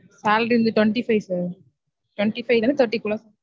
Salary வந்து twenty five sir twenty five ல இருந்து thirty க்குள்ள